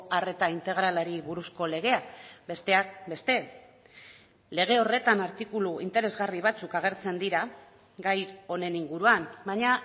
arreta integralari buruzko legea besteak beste lege horretan artikulu interesgarri batzuk agertzen dira gai honen inguruan baina